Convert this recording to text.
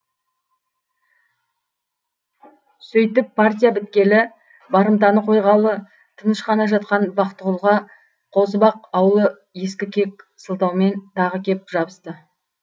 сөйтіп партия біткелі барымтаны қойғалы тыныш қана жатқан бақтығұлға қозыбақ аулы ескі кек сылтаумен тағы кеп жабысты